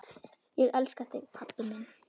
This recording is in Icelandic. Ég elska þig pabbi minn.